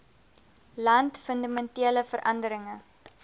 land fundamentele veranderinge